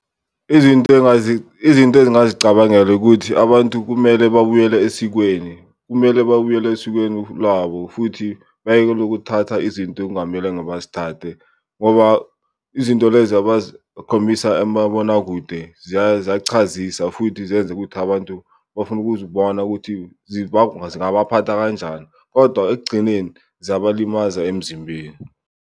Izinto izinto ezingazicabangela ukuthi abantu kumele babuyele esikweni, kumele babuyele esikweni lwabo futhi bayekele ukuthatha izinto okungamelanga bazithathe. Ngoba izinto lezi abazikhombisa emabonakude ziyachazisa futhi zenze ukuthi abantu bafuna ukuzibona ukuthi zingabaphatha kanjani, kodwa ekugcineni ziyabalimaza emzimbeni.